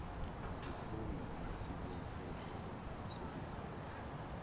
sikhungo unesibophezelo sokuphatha